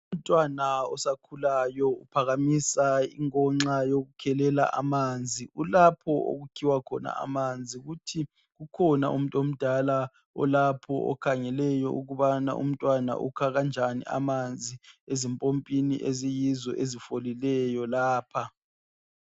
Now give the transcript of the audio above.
Umntwana osakhulayo uphakamisa inkonxa yokukhelela amanzi , ulapho okukhiwa khona amanzi ku tap kukhona umuntu omdala olapho okhangeleyo ukubana umntwana ukha kanjani amanzi ezimpimpini eziyizo ezifolileyo lapha